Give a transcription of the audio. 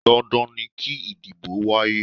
Dandan ni kí ìdìbò wáyé.